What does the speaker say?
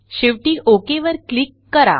शेवटी ओक वर क्लिक करा